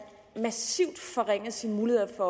får massivt forringet sine muligheder for